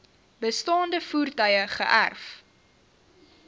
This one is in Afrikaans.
bestaande voertuie geërf